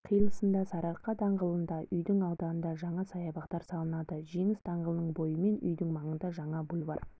қиылысында сарыарқа даңғылында үйдің ауданында жаңа саябақтар салынады жеңіс даңғылының бойымен үйдің маңында жаңа бульвар